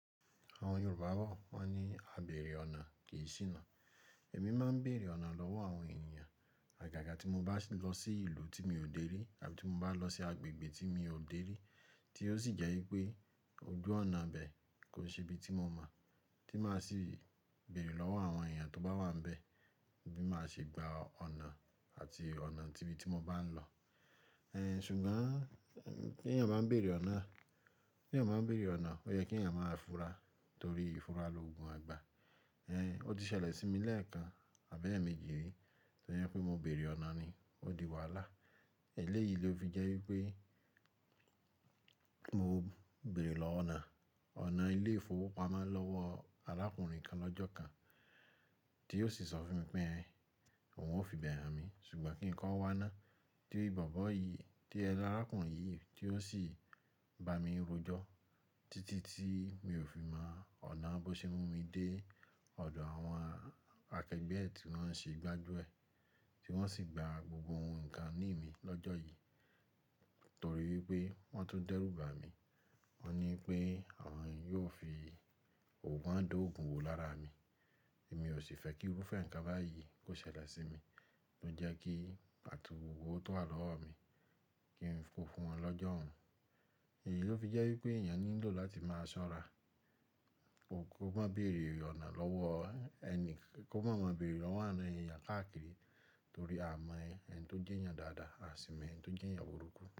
Àwọn Yorùbá bo wọ́n ní “Àbéèrè ọ̀nà kì í ṣìnà”. Èmi máa ń bèèrè ọ̀nà lọ́wọ́ àwọn ènìyàn. Àgàgà tí mo bá lọ sí ìlú tí mi ò dé rí àbí tí mo bá lọ sí agbègbè tí mi ò dé rí tí ó sì jẹ́ wípé ojú ọ̀nà bẹ́ẹ̀ kò ṣe ibi tí mo mọ̀, tí máa sì bèèrè lọ́wọ́ àwọn ènìyàn tó bá wà níbẹ̀ bí máa ṣe gba ọ̀nà àti ọ̀nà tí ibi tí mo bá ń lọ. Ṣùgbọ́n kí èeyan máa ń bèèrè ọ̀nà, kí èeyan máa ń bèèrè ọ̀nà, ó yẹ kí ẹ̀yin máa fura torí ìfura loogun àgbà. Ẹ̀, ó ti ṣẹlẹ̀ sí mi lẹ́ẹ̀kan, àbi eemeji ri, tó jẹ pé mo bèèrè ọ̀nà ni ó di wàhálà. Ẹ̀léyìí ló fi jẹ́ wípé mo. Bèèrè lọ ọ̀nà, ọ̀nà ilé ìfowópamọ́ lọ́wọ́ arákùnrin kan lọ́jọ́ kan tí ó sì sọ fún mi pé ẹ̀un òun ó fi bẹ̀rẹ̀ à mi ṣùgbọ́n kí nǹkan wá ná. Tí bobo yìí, tí ẹ láràkùnrin yìí tí ó sì bá mi rojọ́ títí tí mi ò fi mọ ọ̀nà bó ṣe mú mi dé ọ̀dọ̀ àwọn akẹgbẹ́ ẹ ti wọ́n ṣe gbájú ẹ̀ tí wọ́n sì gba gbogbo ǹkan ní mi lọ́jọ́ yìí torí wípé wọ́n tó dẹ́rù bá mi. Wọ́n ní pé àwọn yóò fi ogún wọ́n dógun wò lára mi. Èmi ò sì fẹ́ kí irúfẹ́ ǹkan báyìí kó ṣẹlẹ̀ sí mi tó jẹ́ kí àtúnrọ̀wọ́ tó wà lọ́wọ́ mi kí n fún wọn lọ́jọ́ ọ̀ún. Èyí ló fi jẹ́ wípé ènìyàn ní lò láti máa ṣọ́ra. Kò, kò má bẹ̀rẹ̀ ọ̀nà lọ́wọ́ ẹni, kò má máa ń bèèrè lọ́wọ́ àwọn èyàn káàkiri torí a mọ ẹni tó jẹ́ èyàn dáadáa, a sì mọ ẹni tó jẹ́ èyàn burúkú.